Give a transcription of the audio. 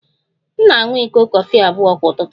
M na-aṅụ iko kọfị abụọ kwa ụtụtụ